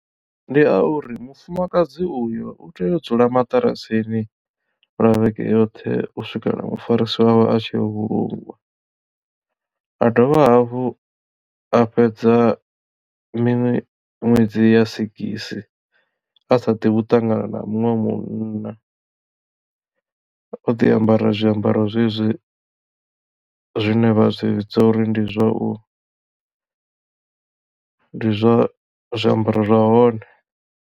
Ndi a uri mufumakadzi uyo u tea u dzula maṱarasini lwa vhege yoṱhe u swikela mufarisi wawe a tshia uvhulungwa a dovha hafhu a fhedza mini ṅwedzi ya sigisi a sa ḓivhi u ṱangana na muṅwe munna o ḓi ambara zwiambaro zwezwi zwine vha zwi vhidza uri ndi zwa u ndi zwa zwiambaro zwa hone.